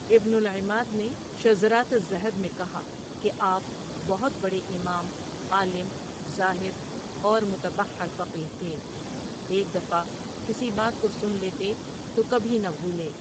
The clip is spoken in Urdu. ابن العماد نے شذرات الذہب میں کہا کہ آپ بہت بڑے امام، عالم، زاهداور متبحر فقیہ تھے، ایک دفعہ کسی بات کو سن لیتے تو کبھی نہ بھولے۔